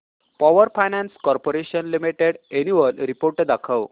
power finance corporation limited annual report दाखव